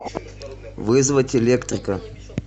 вызвать электрика